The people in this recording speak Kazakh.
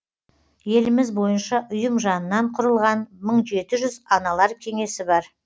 еліміз бойынша ұйым жанынан құрылған мың жеті жүз аналар кеңесі бар